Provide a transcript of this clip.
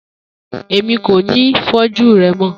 Emi ko ni foju rẹ mọ